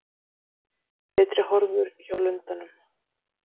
Betri horfur hjá lundanum